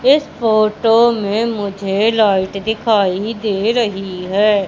इस फोटो में मुझे लाइट दिखाई दे रही है।